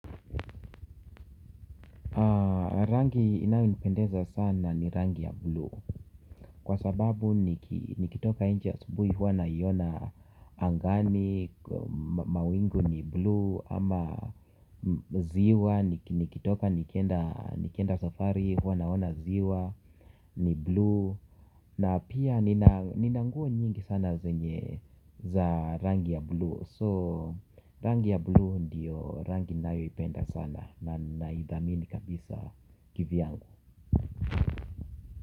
Rangi inayonipendeza sana ni rangi ya bluu kwa sababu nikitoka nje asubuhi huwa naiona angani. Mawingu ni blue ama ziwa nikitoka nikenda safari huwa naona ziwa ni blue. Na pia nina nguo nyingi sana zenye za rangi ya blue. So rangi ya blue ndiyo rangi ninayoipenda sana na idhamini kabisa kivyangu.